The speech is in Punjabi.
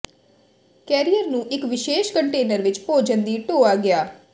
ਕੈਰੀਅਰ ਨੂੰ ਇੱਕ ਵਿਸ਼ੇਸ਼ ਕੰਟੇਨਰ ਵਿੱਚ ਭੋਜਨ ਦੀ ਢੋਆ ਗਿਆ